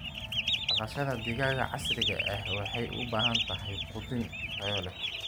Dhaqashada digaaga casriga ah waxay u baahan tahay quudin tayo leh.